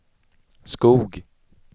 Skog